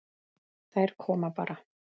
Þær koma bara.